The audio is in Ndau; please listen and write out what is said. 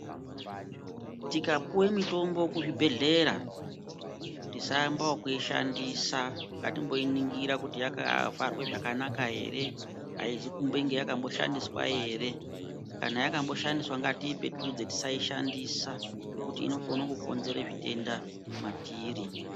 Tikapiwe mitombo kuzvibhedleya tisayambao kushandisa ngatimboiningira kuti yakavharwe zvakanaka here haizokumbenge yakamboshandiswa ere kana yakamboshandiswa ngatiipetudze tisaishandisa nokuti inokona kukonzere zvitenda matiri.